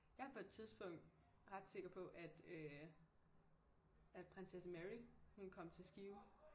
Jeg var på et tidspunkt øh ret sikker på at øh at Prinsesse Mary hun kom til Skive